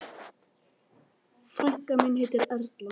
Frænka mín heitir Erla.